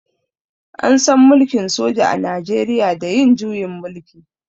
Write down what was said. An san mulkin soja a najeriya da yin juyin mulki.